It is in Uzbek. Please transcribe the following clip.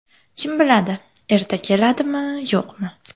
Kim biladi, erta keladimi, yo‘qmi?”.